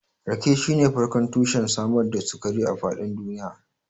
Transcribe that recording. Rake shine farkon tushen samar da sukari a faɗin duniya.